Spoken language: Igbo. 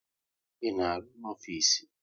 Ị na-arụ no ofisi?